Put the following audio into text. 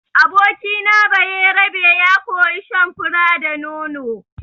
Abokina Bayerabe ya koyi shan fura da nono.